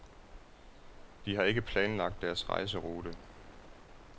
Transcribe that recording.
De har ikke planlagt deres rejserute.